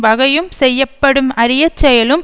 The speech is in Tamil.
வகையும் செய்யப்படும் அறிய செயலும்